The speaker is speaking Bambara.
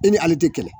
E ni ale tɛ kɛlɛ